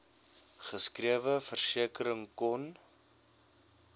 geskrewe versekering kon